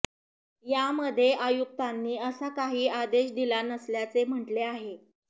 यामध्ये आयुक्तांनी असा काही आदेश दिला नसल्याचे म्हटले आहे